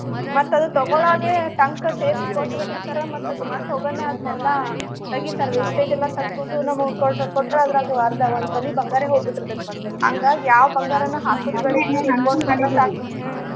ಮತ್ತ ಅದು ತಗೊಳ್ಳೊವಾಗೆ ಟಂಕ ಸೇರಿಸಿ ಕೊಟ್ಟ ಬಿಟ್ಟಿರ್ತಾರ ಮತ್ತ ಅದು ಮತ್ತ ಹೋಗಾನ ಅದ್ನೇಲ್ಲಾ ತೆಗಿತಾರ. wastage ಎಲ್ಲಾ ತೆಗದು ನಮಗ ಕೊಡು ಕೊಟ್ರ ಅದ್ರಾಗ ಅರ್ದ ಒಂದ ತೊಲಿ ಬಂಗಾರ ಹೋಗಿ ಬಿಟ್ಟಿರ್ತೆತಿ ಮತ್ತ ಅದು. ಹಂಗಾಗೆ ಯಾವ ಬಂಗಾರನು ಹಾಕುದ ಸಾಕು ಹ್ಮ.